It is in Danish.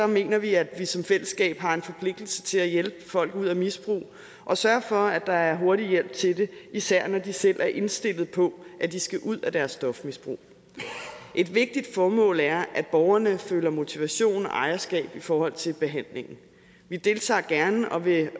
mener vi at vi som fællesskab har en forpligtelse til at hjælpe folk ud af misbrug og sørge for at der er hurtig hjælp til det især når de selv er indstillet på at de skal ud af deres stofmisbrug et vigtigt formål er at borgerne føler motivation og ejerskab i forhold til behandlingen vi deltager gerne og vil